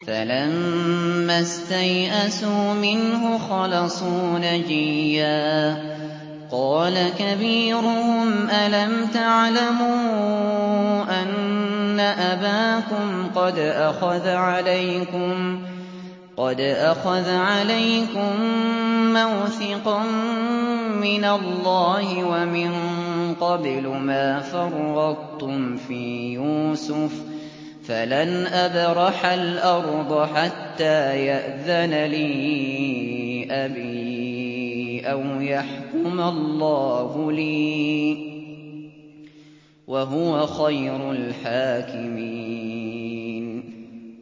فَلَمَّا اسْتَيْأَسُوا مِنْهُ خَلَصُوا نَجِيًّا ۖ قَالَ كَبِيرُهُمْ أَلَمْ تَعْلَمُوا أَنَّ أَبَاكُمْ قَدْ أَخَذَ عَلَيْكُم مَّوْثِقًا مِّنَ اللَّهِ وَمِن قَبْلُ مَا فَرَّطتُمْ فِي يُوسُفَ ۖ فَلَنْ أَبْرَحَ الْأَرْضَ حَتَّىٰ يَأْذَنَ لِي أَبِي أَوْ يَحْكُمَ اللَّهُ لِي ۖ وَهُوَ خَيْرُ الْحَاكِمِينَ